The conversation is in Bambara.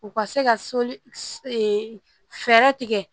U ka se ka soli fɛɛrɛ tigɛ